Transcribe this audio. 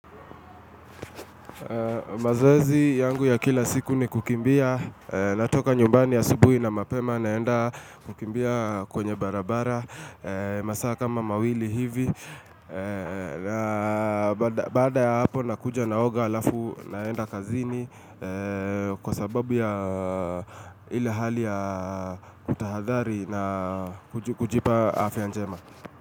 Mazoezi yangu ya kila siku ni kukimbia natoka nyumbani asubuhi na mapema naenda kukimbia kwenye barabara masaa kama mawili hivi na baada ya hapo nakuja naoga halafu naenda kazini Kwa sababu ya ile hali ya kutahadhari na kujipa afya njema.